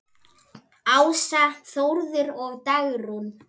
Ása, Þórður og Dagrún.